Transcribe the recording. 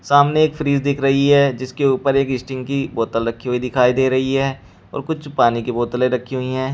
सामने एक फ्रिज दिख रही है जिसके ऊपर एक स्टिंग की बोतल रखी हुई दिखाई दे रही है और कुछ पानी की बोतलें रखी हुई हैं।